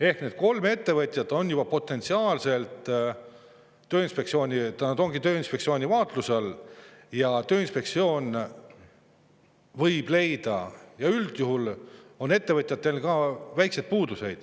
Ehk need kolm ettevõtet ongi Tööinspektsiooni vaatluse all ja Tööinspektsioon võib leida, üldjuhul ju ongi ettevõtetes väikeseid puudusi.